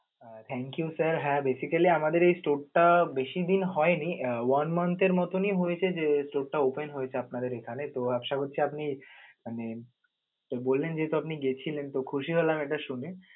Thank you sir হ্যা basically আমাদের এই store টা বেশি দিন হয়নি আহ one month এর মতনি হয়েছে যে, store টা open হয়েছে তো আপনাদের এখানে তো আশা করছি আপনি মানে তো বলেন যেহেতু আপনি গেছিলেন তো খুশি হলাম এটা শুনে.